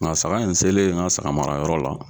Nga saga in selen n ka saga mara yɔrɔ la